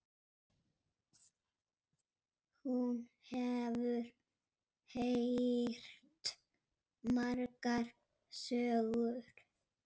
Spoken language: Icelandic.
Hún hefur heyrt margar sögur.